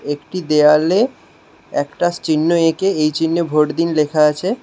একটি দেওয়ালে একটা চিহ্ন একে এই চিহ্নে ভোট দিন লেখা আছে।